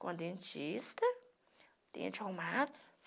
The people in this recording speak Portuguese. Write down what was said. Com dentista, dente arrumado.